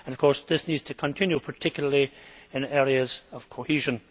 Of course this needs to continue, particularly in areas of cohesion.